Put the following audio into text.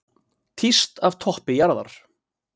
Tíst af toppi jarðar